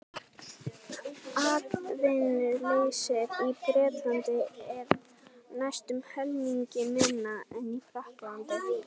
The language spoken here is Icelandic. atvinnuleysið í bretlandi er næstum helmingi minna en í frakklandi